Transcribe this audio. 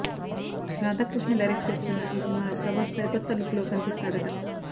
Radhakrishna direct చేస్తున్న ఈ సినిమాలో ప్రభాస్ సరికొత్త లుక్లో కనిపిస్తాడట